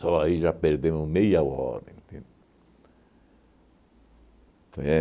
aí já perdemos meia hora, entende?